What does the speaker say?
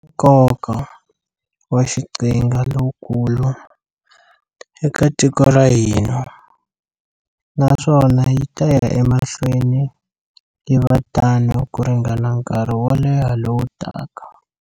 Nkoka wa xiqhinga lowukulu eka tiko ra ka hina, naswona yi ta ya mahlweni yi va tano ku ringana nkarhi wo leha lowu taka.